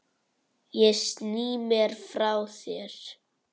Ég sný mér frá þér.